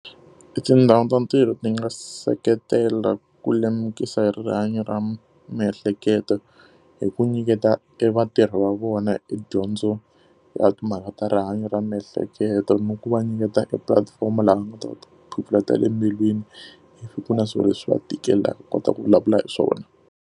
Etindhawu ta ntirho ti nga seketela ku lemukisa hi rihanyo ra miehleketo hi ku nyiketa evatirhi va vona edyondzo ya timhaka ta rihanyo ra miehleketo, ni ku va nyiketa e platform laha va nga ta kota ku phofula ta le embilwini. Loko ku ri na swilo leswi va tikelaka ku va kota ku vulavula hi swona.